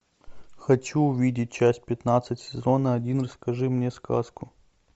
хочу увидеть часть пятнадцать сезона один расскажи мне сказку